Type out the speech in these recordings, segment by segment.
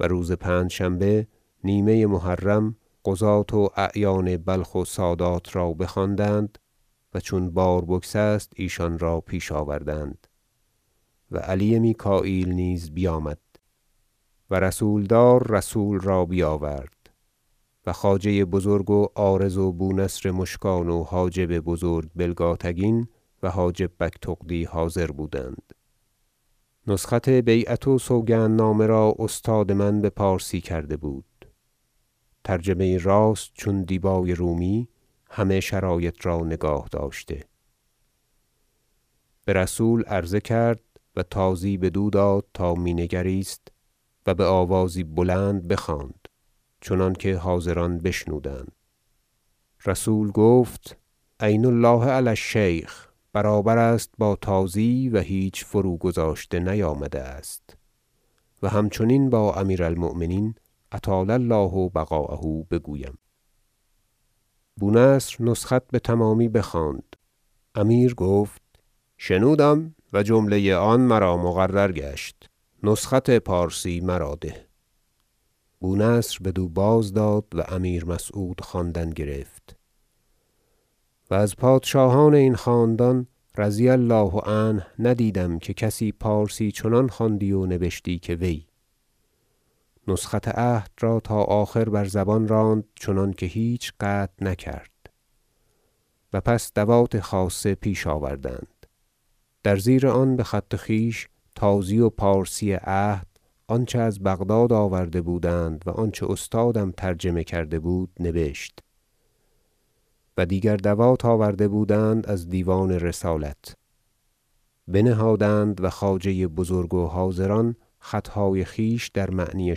و روز پنجشنبه نیمه محرم قضاة و اعیان بلخ و سادات را بخواندند و چون بار بگسست ایشان را پیش آوردند و علی میکاییل نیز بیامد و رسولدار رسول را بیاورد- و خواجه بزرگ و عارض و بونصر مشکان و حاجب بزرگ بلگاتگین و حاجب بگتغدی حاضر بودند- نسخت بیعت و سوگندنامه را استاد من بپارسی کرده بود ترجمه یی راست چون دیبای رومی همه شرایط را نگاه- داشته برسول عرضه کرد و تازی بدو داد تا می نگریست و بآوازی بلند بخواند چنانکه حاضران بشنودند رسول گفت عین الله علی الشیخ برابر است با تازی و هیچ فروگذاشته نیامده است و همچنین با امیر المؤمنین اطال الله بقاءه بگویم بونصر نسخت بتمامی بخواند امیر گفت شنودم و جمله آن مرا مقرر گشت نسخت پارسی مرا ده بونصر بدو باز داد و امیر مسعود خواندن گرفت- و از پادشاهان این خاندان رضی الله عنه ندیدم که کسی پارسی چنان خواندی و نبشی که وی- نسخت عهد را تا آخر بر زبان راند چنانکه هیچ قطع نکرد و پس دوات خاصه پیش آوردند در زیر آن بخط خویش تازی و پارسی عهد آنچه از بغداد آورده بودند و آنچه استادم ترجمه کرده بود نبشت و دیگر دوات آورده بودند از دیوان رسالت بنهادند و خواجه بزرگ و حاضران خطهای خویش در معنی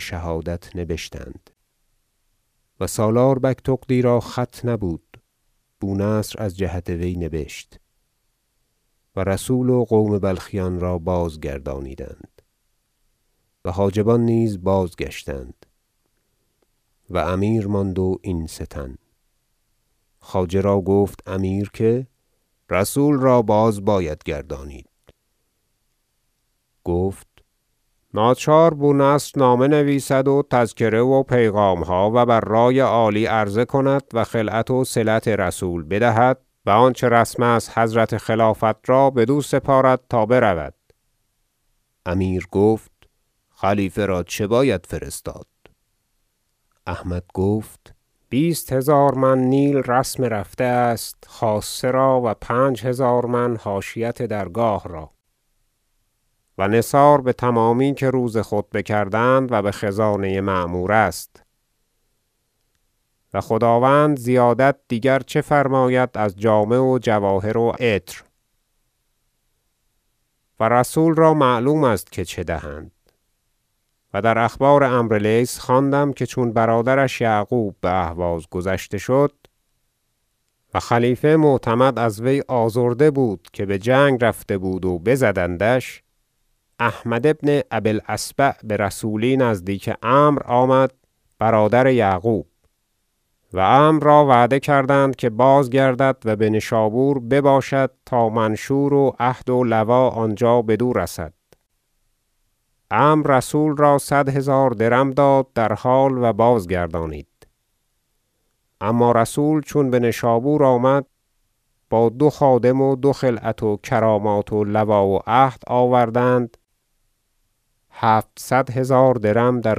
شهادت نبشتند و سالار بگتغدی را خط نبود بونصر از جهت وی نبشت و رسول و قوم بلخیان را بازگردانیدند و حاجبان نیز بازگشتند و امیر ماند و این سه تن خواجه را گفت امیر که رسول را باز باید گرداند گفت ناچار بونصر نامه نویسد و تذکره و پیغامها و بر رأی عالی عرضه کند و خلعت وصلت رسول بدهد و آنچه رسم است حضرت خلافت را بدو سپارد تا برود امیر گفت خلیفه را چه باید فرستاد احمد گفت بیست هزار من نیل رسم رفته است خاصه را و پنج هزار من حاشیت درگاه را و نثار بتمامی که روز خطبه کردند و بخزانه معمور است و خداوند زیادت دیگر چه فرماید از جامه و جواهر و عطر و رسول را معلوم است که چه دهند و در اخبار عمرو لیث خوانده ام که چون برادرش یعقوب باهواز گذشته شد- و خلیفه معتمد از وی آزرده بود که بجنگ رفته بود و بزدندش- احمد ابن ابی الأصبع برسولی نزدیک عمرو آمد برادر یعقوب و عمرو را وعده کردند که بازگردد و بنشابور بباشد تا منشور و عهد ولوا آنجا بدو رسد عمرو رسول را صد هزار درم داد در حال و بازگردانید اما رسول چون بنشابور آمد با دو خادم و دو خلعت و کرامات ولوا و عهد آوردند هفتصد هزار درم در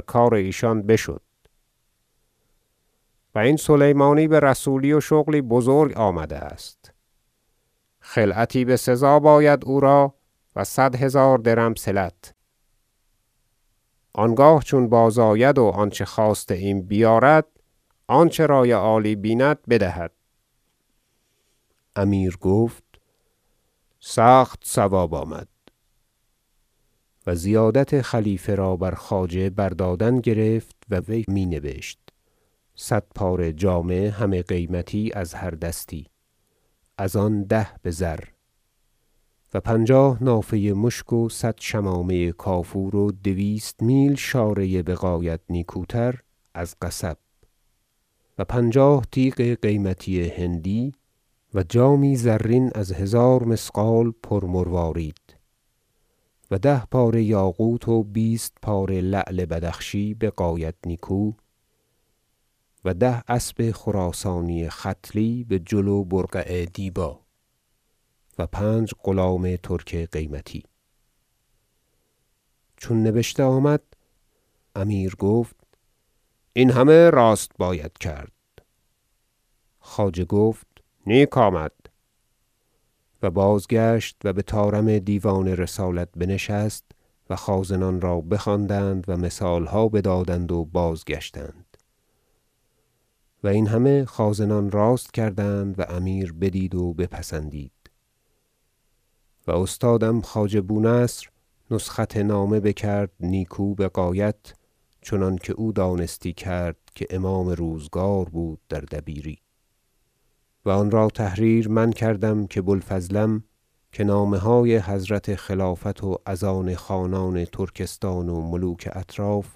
کار ایشان بشد و این سلیمانی برسولی و شغلی بزرگ آمده است خلعتی بسزا باید او را و صد هزار درم صلت آنگاه چون بازآید و آنچه خواسته ایم بیارد آنچه رأی عالی بیند بدهد ترتیب هدیه برای خلیفه امیر گفت سخت صواب آمد و زیادت خلیفه را بر خواجه بردادن گرفت و وی می نبشت صد پاره جامه همه قیمتی از هر دستی از آن ده بزر و پنجاه نافه مشک و صد شمامه کافور و دویست میل شاره بغایت نیکوتر از قصب و پنجاه تیغ قیمتی هندی و جامی زرین از هزار مثقال پر مروارید و ده پاره یاقوت و بیست پاره لعل بدخشی بغایت نیکو و ده اسب خراسانی ختلی بجل و برقع دیبا و پنج غلام ترک قیمتی چون نبشته آمد امیر گفت این همه راست باید کرد خواجه گفت نیک آمد و بازگشت و بطارم دیوان رسالت بنشست و خازنان را بخواندند و مثالها بدادند و بازگشتند و این همه خازنان راست کردند و امیر بدید و بپسندید و استادم خواجه بونصر نسخت نامه بکرد نیکو بغایت چنانکه او دانستی کرد که امام روزگار بود در دبیری و آنرا تحریر من کردم که بوالفضلم که نامه های حضرت خلافت و از آن خانان ترکستان و ملوک اطراف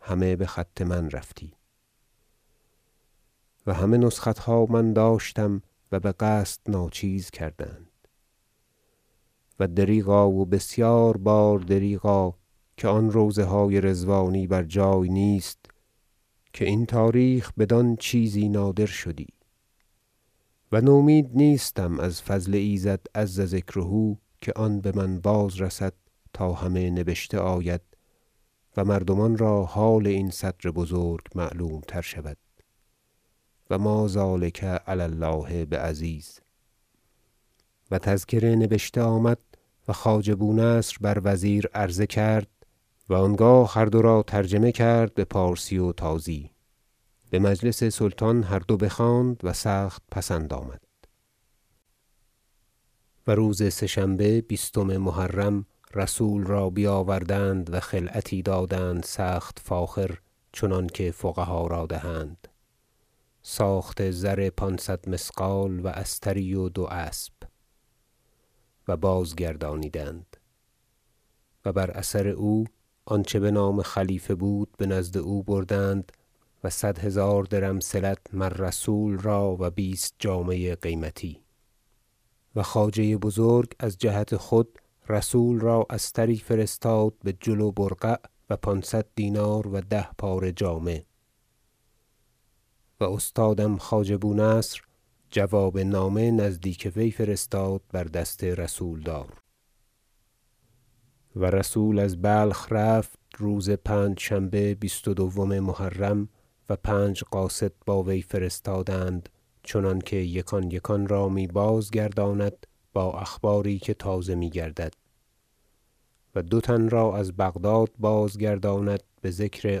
همه بخط من رفتی و همه نسختها من داشتم و بقصد ناچیز کردند و دریغا و بسیار بار دریغا که آن روضه های رضوانی بر جای نیست که این تاریخ بدان چیزی نادر شدی و نومید نیستم از فضل ایزد عز ذکره که آن بمن باز رسد تا همه نبشته آید و مردمان را حال این صدر بزرگ معلوم تر شود و ما ذلک علی الله بعزیز و تذکره نبشته آمد و خواجه بونصر بر وزیر عرضه کرد و آنگاه هر دو را ترجمه کرد بپارسی و تازی بمجلس سلطان هر دو بخواند و سخت پسند آمد و روز سه شنبه بیستم محرم رسول را بیاوردند و خلعتی دادند سخت فاخر چنانکه فقها را دهند ساخت زر پانصد مثقال و استری و دو اسب و بازگردانیدند و بر اثر او آنچه بنام خلیفه بود بنزد او بردند و صد هزار درم صلت مر رسول را و بیست جامه قیمتی و خواجه بزرگ از جهت خود رسول را استری فرستاد بجل و برقع و پانصد دینار و ده پاره جامه و استادم خواجه بونصر جواب نامه نزدیک وی فرستاد بر دست رسولدار و رسول از بلخ رفت روز پنجشنبه بیست و دوم محرم و پنج قاصد با وی فرستادند چنانکه یکان یکان را می بازگرداند با اخباری که تازه میگردد و دو تن را از بغداد بازگرداند بذکر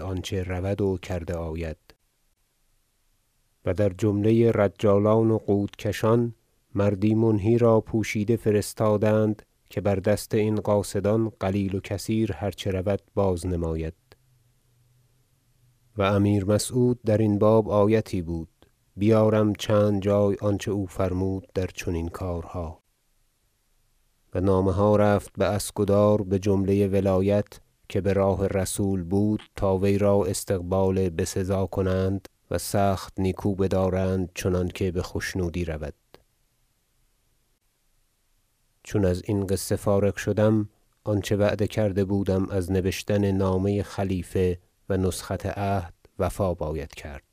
آنچه رود و کرده آید و در جمله رجالان و قودکشان مردی منهی را پوشیده فرستادند که بر دست این قاصدان قلیل و کثیر هر چه رود باز نماید- و امیر مسعود در این باب آیتی بود بیارم چند جای آنچه او فرمود در چنین کارها- و نامه ها رفت باسکدار بجمله ولایت که براه رسول بود تا وی را استقبال بسزا کنند و سخت نیکو بدارند چنانکه بخشنودی رود چون ازین قصه فارغ شدم آنچه وعده کرده بودم از نبشتن نامه خلیفه و نسخت عهد وفا باید کرد